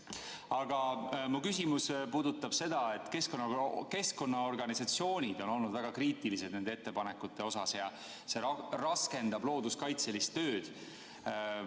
Aga mu küsimus puudutab seda, et keskkonnaorganisatsioonid on olnud väga kriitilised nende ettepanekute suhtes ja see raskendab looduskaitselist tööd.